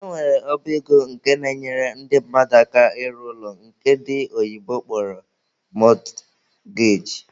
E nwere ọba ego nke na-enyere ndị mmadụ aka ịrụ ụlọ nke ndi oyibo kpọrọ mortgage.